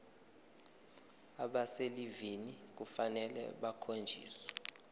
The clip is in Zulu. abaselivini kufanele bakhonjiswe